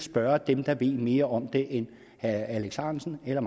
spørge dem der ved mere om det end herre alex ahrendtsen eller